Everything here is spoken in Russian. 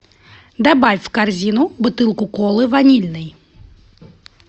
добавь в корзину бутылку колы ванильной